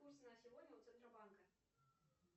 курс на сегодня у центробанка